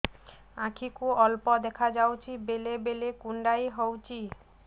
ଆଖି କୁ ଅଳ୍ପ ଦେଖା ଯାଉଛି ବେଳେ ବେଳେ କୁଣ୍ଡାଇ ହଉଛି